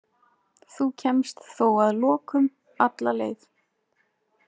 Þú kemst þó að lokum alla leið.